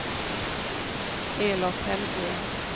Elof Hellgren